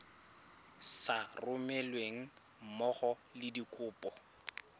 sa romelweng mmogo le dikopo